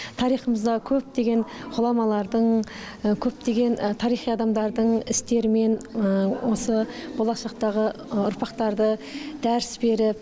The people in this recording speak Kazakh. тарихымызда көптеген ғұламалардың көптеген тарихи адамдардың істерімен осы болашақтағы ұрпақтарды дәріс беріп